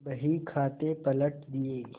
बहीखाते पटक दिये